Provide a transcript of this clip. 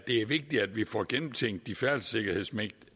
er vigtigt at vi får gennemtænkt de færdselssikkerhedsmæssige